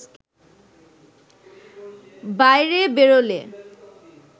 বাইরে বেরোলে